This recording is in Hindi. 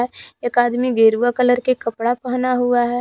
एक आदमी गेरूआ कलर के कपडा पहना हुआ है।